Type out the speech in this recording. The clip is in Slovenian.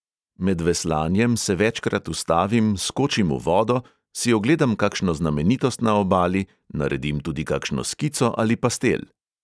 Med veslanjem se večkrat ustavim, skočim v vodo, si ogledam kakšno znamenitost na obali, naredim tudi kakšno skico ali pastel.